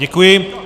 Děkuji.